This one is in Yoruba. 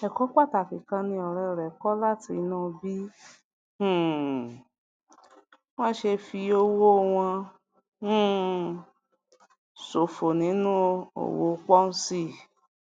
èkó pàtàkì kan ni òré rè kó látinú bí um wón ṣe fi owó fi owó wọn um ṣòfò nínú òwò ponzi